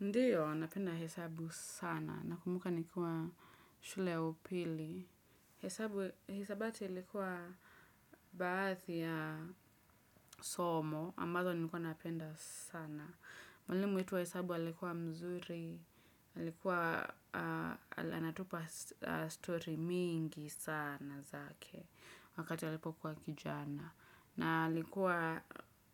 Ndiyo, napenda hesabu sana nakumbuka nikiwa shule ya upili. Hesabu, hisabati likuwa baadhi ya somo, ambazo nilikuwa napenda sana. Mwalimu wetu wa hesabu alikuwa mzuri, alikuwa anatupa story mingi sana zake wakati alipokuwa kijana. Na alikuwa